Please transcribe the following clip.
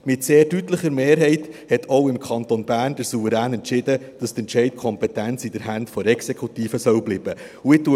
Mit sehr deutlicher Mehrheit hat auch im Kanton Bern der Souverän entschieden, dass die Entscheidungskompetenz in den Händen der Exekutive bleiben soll.